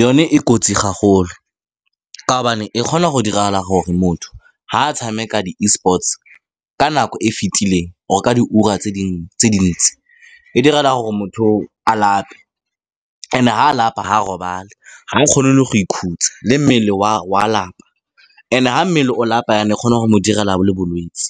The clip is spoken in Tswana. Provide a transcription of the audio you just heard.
Yone e kotsi haholo ka gobane e kgona go diragala gore motho, fa a tshameka di-Esports-e ka nako e fitileng, or-e ka di ura tse tse dintsi, e direla gore motho o o a lape. And-e, fa a lapa, ga robale, ga o kgone le go ikhutsa, le mmele wa lapa. And-e, fa mmele o lapa e kgona go mo direla le bolwetse.